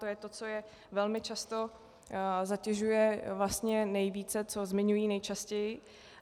To je to, co je velmi často zatěžuje vlastně nejvíce, co zmiňují nejčastěji.